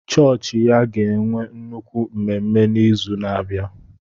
Chọọchị ya ga-enwe nnukwu mmemme n'izu na-abịa.